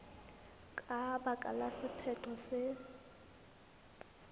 ka baka la sephetho se